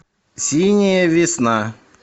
синяя весна